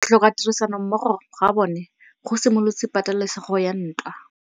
Go tlhoka tirsanommogo ga bone go simolotse patêlêsêgô ya ntwa.